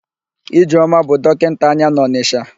Ijeọma bụ dọkịnta anya n'Ọnịsha.